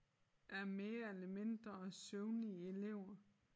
Af mere eller mindre søvnige elever